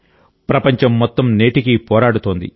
ప్రపంచం మొత్తం నేటికీ పోరాడుతోంది